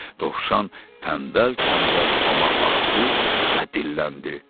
Dovşan tənbəl-tənbəl Toma baxdı və dilləndi.